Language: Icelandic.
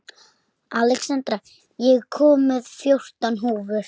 Alexandra, ég kom með fjórtán húfur!